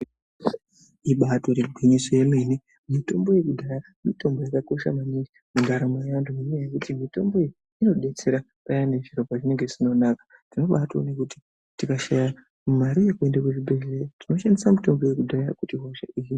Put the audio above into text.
Ibatori gwinyiso yemene mitombo dzekudhaya mitombo yakakosha maningi mundaramo mwevantu ngenyaya yekuti mitombo iyi inodetsera payani zviro pazvinenge zvisina kunaka tinobatoone kuti tikashaya mare yekuende kuzvibhehleya tinoshandisa mitombo yekudhaya kuti hosha idzi.